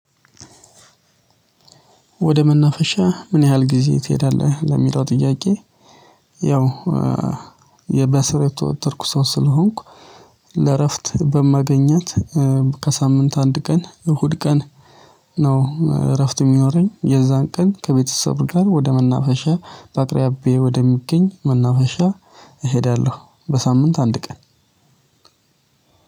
ወደ መናፈሻ ምን ያህል ጊዜ ትሄዳለህ ለሚለው ጥያቄ ያው የበስራ የተወጠርኩ ሰው ስለሆንኩ ለእረፍት በማገኛት ከሳምንት አንድ ቀን እሁድ ቀን ነው እረፍት የሚኖረኝ የዛን ቀን ከቤተሰብ ጋር ወደ መናፈሻ በአቅራቢየኢ ወደሚገኝ መናፈሻ እሄዳለሁ በሳምንት አንድ ቀን።